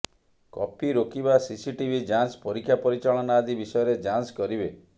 copy ରୋକିବା CCTV ଯାଞ୍ଚ ପରୀକ୍ଷା ପରିଚାଳନା ଆଦି ବିଷୟରେ ଯାଞ୍ଚ କରିବେ